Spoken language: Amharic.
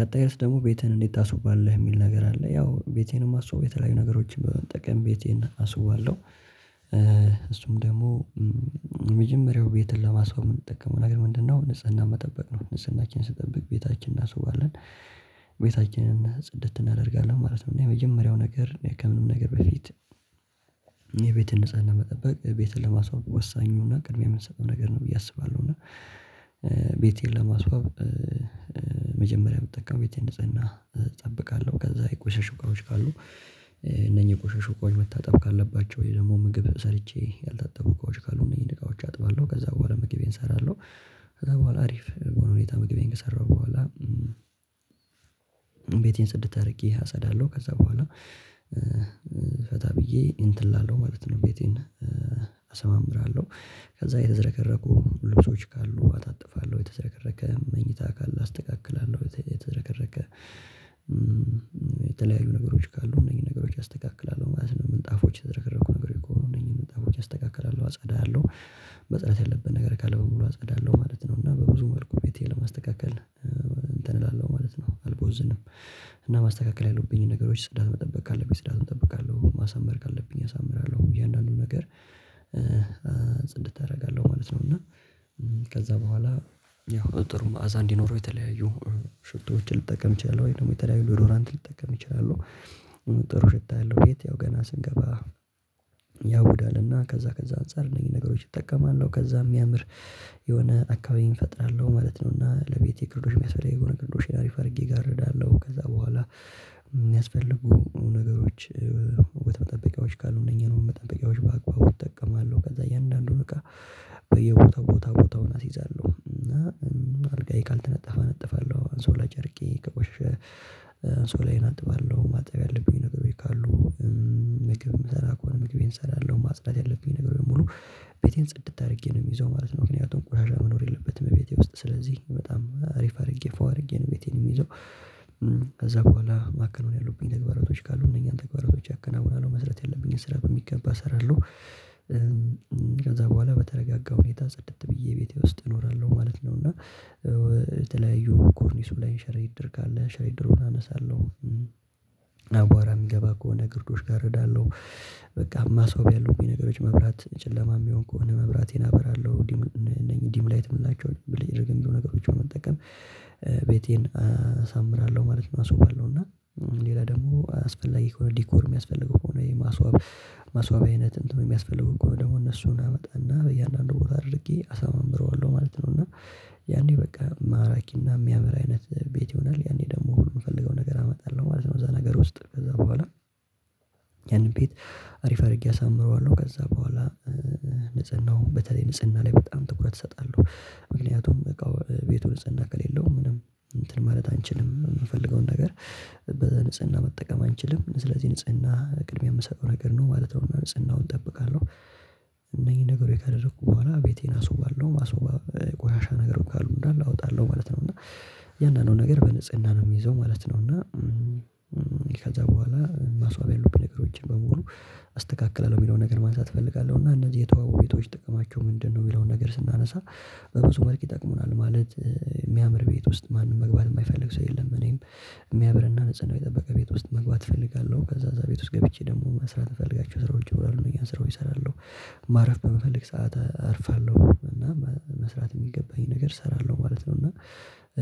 ቀጣይስ ደግሞ ቤትህን እንዴት ታስውባለህ? እሚል ነገር አለ ያው ቤቴን አማስውበው የተለያዩ ነገሮችን በጠቀም ቤቴን አስውባለሁ። እሱም ደግሞ የመጀመሪያው ቤትን ለማስዋብ እምንጠቀመው ነገር ምንድነው? ንጽህና መጠበቅ ነው ንጽህናችን ስንጠብቅ ቤታችን እናስውባለን። ቤታችንን ጽድት እናደርጋለን ማለት ነው እና የመጀመሪያው ነገር ከምንም ነገር በፊት የቤትን ነፅህና መጠበቅ ለማስዋብ ወሳኙና ቅድሚያ እምንሰጠው ነገር ነው ብዬ አስባለሁ። እና ለማስዋብ መጀመሪያ እምጠቀመው ቤቴን ንጽህና እጠብቃለሁ ከዛ የቆሸሹ እቃዎች ካሉ እነኚህ የቆሸሹ እቃዎች መታጠብ ካለባቸው ወይ ደግሞ ምግብ ሰርቼ ያልታጠቡ እቃዎች ካሉ እነኚህን እቃዎች አጥባለሁ ከዛ በኋላ መግቤን እሰራለሁ። ከዛ በኋላ አሪፍ ሁኔታ መግቢን ከሰራሁ በኋላ ቤቴን ጽድት አድርጌ አጸዳለሁ። ከዛ በኋላ ፈታ ብዬ እንትን እላለው ማለት ነው ቤቴን አሰማምራለሁ። ከዛ የተዘረከረኩ ልብሶች ካሉ አጣጥፋለሁ የተዘረከረከ መኝታ ካለ አስተካክላለሁ የተዝረከረከ የተለያዩ ነገሮች ካሉ እነኚህን ነገሮች አስተካክላለሁ ማለት ነው። ምንጣፎች የተዘርከረኩ ነገሮች ከሆኑ እነኚህን ምንጣፎች አስተካክላለሁ አጸዳለሁ መፅዳት ያለበት ነገር ካለ በሙሉ አጸዳለሁ ማለት ነው። እና በብዙ መልኩ ቤቴን ለማስተካከል እንትን እላለሁ ማለት ነው አልቦዝንም። እና ማስተካከል ያሉብኝን ነገሮች ጽዳት መጠበቅ ካለብኝ ፅዳቱን እጠብቃለሁ ማሳመር ካለብኝ አሳምራለሁ እያንዳንዱ ነገር ጽድት አደርጋለሁ ማለት ነው። እና ከዛ በኋላ ያው ጥሩ መዓዛ እንዲኖረው የተለያዩ ሽቶዎችን ልጠቀም እችላለህ ወይ ደግሞ የተለያዩ ዶድራንት ልጠቀም እችላለሁ። ጥሩ ሽታ ያለው ቤት ያው ገና ስንገባ ያውዳልና ከዛ ከዛ አንፃር እነኚህን ነገሮች እጠቀማለሁ ከዛም እሚያምር የሆነ አካባቢ እፈጥራለሁ ማለት ነው። እና ለቤቴ ግርዶሽ እሚያስፈልገኝ ከሆነ ግርዶሽ አሪፍ አድርጌ እጋርዳለሁ ከዛ በኋላ እሚያስፈልጉ ነገሮች መጠበቂያዎች ካሉ እነኚህ ነው መጠበቂያዎች በአቅባቡ እጠቀማለሁ ከዛ እያንዳንዱን እቃ በየቦታው ቦታው ቦታውን አስይዛለሁ። እና አልጋዬ ካልተነጠፈ እነጥፋለሁ አንሶላ ጨርቄ ከቆሸ አንሶላዬን አጥባለሁ ማጠብ ያለብኝ ነገሮች ካሉ ምግብ የምሰራ ከሆነ ምግቤን እሰራለሁ ማጽዳት ያለብኝ ነገር ሙሉ ቤቴን ጽድት አድርጌ ነው የሚይዘው ማለት ነው። ምክንያቱም ቆሻሻ መኖር የለበትም ቤቴ ውስጥ ስለዚህ በጣም አሪፍ አድርጌ ፉዋ አድርጌ ነው ቤቴን የምይዘው። ከዛ በኋላ ማከናወን ያሉብኝ ተግባራቶች ካሉ እነኛን ተግባራቶች አከናውናለሁ መስራት ያለብኝን ስራ በሚገባ እሰራለሁ። በኋላ በተረጋጋ ሁኔታ ጽድት ብዬ ቤቴ ውስጥ እኖራለሁ ማለት ነው። እና የተለያዩ ኮርኒሱ ላይ ሸረሪት ድር ካለ ሸረሪት ድሩን አነሳለሁ አቧራ የሚገባ ከሆነ ግርዶሽ ጋርዳለሁ። በቃ ማስዋብ ያለብኝ ነገሮች መብራት ጨለማ የሚሆን እኮ ነው መብራቴን አበራለሁ እነዚህ ዲም ላይት የምንላቸው ብልጭ ድርግም ነገሮች መጠቀም ቤቴን አሳምራለሁ ማለት ነው። አስውባለሁ እና ሌላ ደግሞ አስፈላጊ ከሆነ ዲኮር የሚያስፈልገው ከሆነ የማስዋቢያ አይነት እንትኑ የሚያስፈልገው ከሆነ ደግሞ እነሱን አመጣና በእያንዳንዱ ቦታ አድርጌ አሳምረዋለሁ ማለት ነው። እና ያኔ በቃ ማራኪና የሚያምር አይነት ቤት ይሆናል ያኔ ደግሞ ሁሉ የምፈልገው ነገር አመጣለሁ ማለት ነው። እዛ ነገር ውስጥ ከዛ በኋላ ያንን ቤት አሪፍ አድርጌ አሳምረዋለሁ። ከዛ በኋላ ንጽህናው በተለይ ንጽህና ላይ በጣም ትኩረት እሰጣለሁ። ምክንያቱም እቃው ቤቱ ንፁህና ከሌለው ምንም እንትን ማለት አንችልም የምንፈልገውን ነገር በዛ ንጽህና መጠቀም አንችልም ስለዚህ ንጽህና ቅድሚያ የምሰጠው ነገር ነው ማለት ነው። ንጽህናውን እጠብቃለሁ እነዚህ ነገሮች ካደረኩ በኋላ ቤቴን አስውባለሁ። ማስዋብ ቆሻሻ ነገር ካሉ እንዳለ አወጣለሁ ማለት ነው እና ያንኑ ነገር በንጽህና ነው የሚይዘው ማለት ነው። እና ከዛ በኋላ ማስዋብ ያሉብኝ ነገሮችን በሙሉ አስተካክላለሁ የሚለውን ነገር ማንሳት እፈልጋለሁ እና እነዚህ የተዋቡ ቤቶች ጥቅማቸው ምንድነው የሚለውን ነገር ስናነሳ በብዙ መልክ ይጠቅሙናል። ማለት የሚያምር ቤት ውስጥ ማንም መግባት የማይፈልግ ሰው የለም እኔም የሚያምርና ንጽህናው የጠበቀ ቤት ውስጥ መግባት እፈልጋለሁ ከዛ እዛ ቤት ውስጥ ገብቼ ደግሞ መስራት የሚፈልጋቸው ስራዎች ይኖራሉ እነኛን ስራዎች እሰራለሁ። መጠበቂያዎች ካሉ